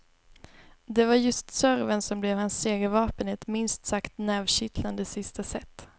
Det var just serven som blev hans segervapen i ett minst sagt nervkittlande sista set.